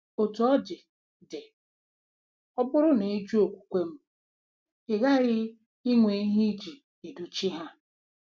Otú ọ dị, dị, ọ bụrụ na ị jụ okwukwe m, ị ghaghị inwe ihe iji edochi ha.